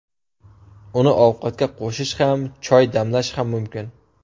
Uni ovqatga qo‘shish ham, choy damlash ham mumkin.